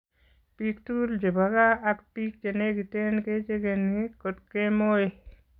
Biik tugul chebo kaa ak biik chenekiten keechekeni kotkemoee